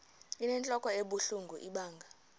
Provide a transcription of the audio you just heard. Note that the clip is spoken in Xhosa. inentlok ebuhlungu ibanga